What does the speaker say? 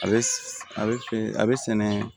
A bɛ a bɛ a bɛ sɛnɛ